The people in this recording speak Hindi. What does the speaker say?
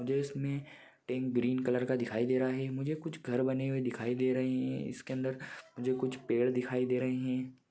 मुझे इसमें टँक ग्रीन कलर का दिखाई दे रहा है। मुझे इसमें कुछ घर बने हुए दिखाई दे रहे हैं। इसके अंदर जो कुछ पेड़ दिखाई दे रहे हैं।